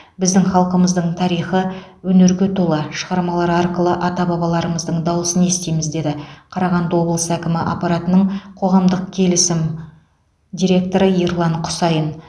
біздің халқымыздың тарихы өнерге толы шығармалар арқылы ата бабаларымыздың дауысын естиміз деді қарағанды облысы әкімі аппаратының қоғамдық келісім директоры ерлан құсайын